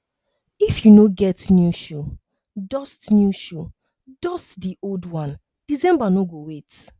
if you no get new shoe dust new shoe dust the old one december no go wait